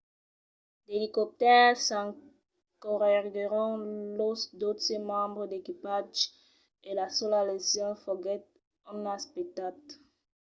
d’elicoptèrs secorreguèron los dotze membres d’equipatge e la sola lesion foguèt un nas petat